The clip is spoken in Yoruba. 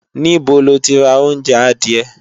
Níbo lo ti ra oúnjẹ adìẹ?